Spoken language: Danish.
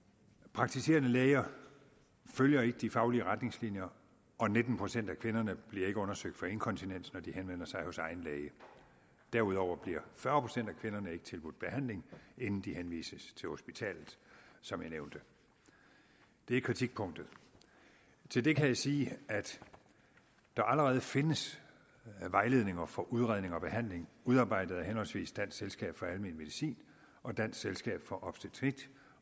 praktiserende læger følger ikke de faglige retningslinjer og nitten procent af kvinderne bliver ikke undersøgt for inkontinens når de henvender sig hos egen læge derudover bliver fyrre procent af kvinderne ikke tilbudt behandling inden de henvises til hospitalet som jeg nævnte det er kritikpunktet til det kan jeg sige at der allerede findes vejledninger for udredning og behandling udarbejdet af henholdsvis dansk selskab for almen medicin og dansk selskab for obstetrik